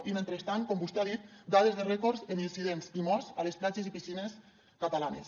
i mentrestant com vostè ha dit dades de rècord en incidents i morts a les platges i piscines catalanes